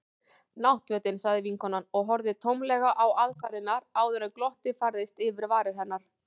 Náttfötin. sagði vinkonan og horfði tómlega á aðfarirnar áður en glottið færðist yfir varir hennar.